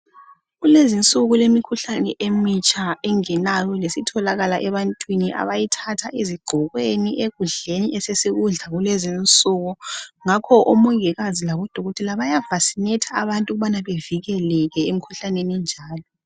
Kulezinsuku kulemikhuhlane emitsha engenayo lesitholakala ebantwini abayithatha ezigqokweni ekudleni esesikudla kulezinsuku ngakho omongikazi labodokotela bayavasinetha abantu ukubana bevikeleke emkhunhlanene enjalo.